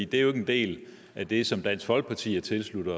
det er jo ikke en del af det som dansk folkeparti har tilsluttet